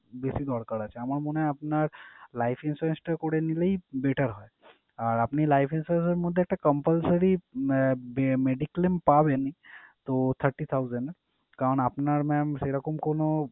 বেশি দরকার আছে। আমার মনে হয় আপনার life insurance টা করে নিলেই better হয়। আর আপনি life insurance এর মধ্যে একটা compulsory আহ mediclaim পাবেন তো thirty thousand । কারণ আপনার mam সেরকম কোন,